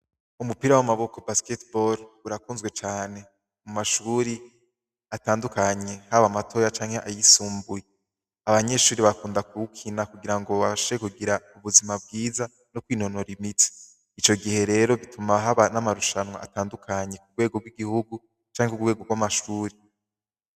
Umupira w'amaboko basketebal urakunzwe cane mu mashuri atandukanye haba amatoya canke ayisumbuye abanyeshuri bakunda kuwukina kugira ngo bashe kugira ubuzima bwiza no kwinonora imiti ico gihe rero bituma haba n'amarushanwa atandukanyi ku bwego bw'igihugu canke ku bwego bw'amashuri.